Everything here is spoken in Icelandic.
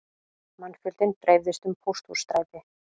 Mannfjöldinn dreifðist um Pósthússtræti